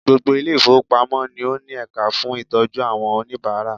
Gbogbo Ilé ìfowópamọ́ ni ó ní ẹ̀ka fún ìtọ́jú àwọn oníbàárà